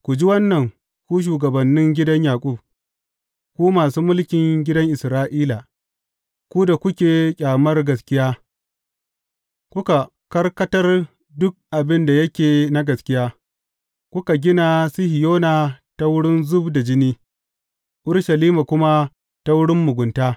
Ku ji wannan, ku shugabannin gidan Yaƙub, ku masu mulkin gidan Isra’ila, ku da kuke ƙyamar gaskiya, kuka karkatar duk abin da yake na gaskiya; kuka gina Sihiyona ta wurin zub da jini, Urushalima kuma ta wurin mugunta.